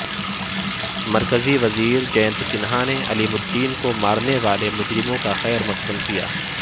مرکزی وزیر جینت سنہا نے علیم الدین کو مارنے والے مجرموں کا خیرمقدم کیا